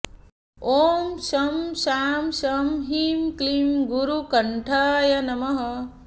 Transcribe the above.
ॐ शं शां षं ह्रीं क्लीं गुरुकण्ठाय नमः